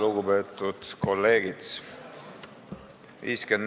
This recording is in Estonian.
Lugupeetud kolleegid!